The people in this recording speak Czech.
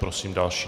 Prosím další.